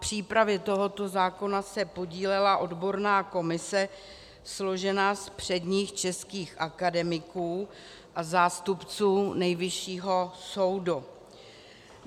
Na přípravě tohoto zákona se podílela odborná komise složená z předních českých akademiků a zástupců Nejvyššího soudu.